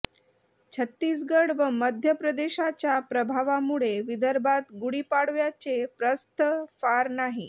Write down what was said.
छत्तीसगढ व मध्य प्रदेशाच्या प्रभावामुळे विदर्भात गुढीपाडव्याचे प्रस्थ फार नाही